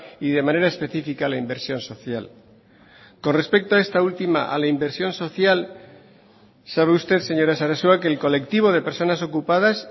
y de manera específica la inversión social con respecto a esta última a la inversión social sabe usted señora sarasua que el colectivo de personas ocupadas